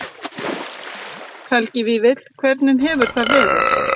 Helgi Vífill: Hvernig hefur það verið?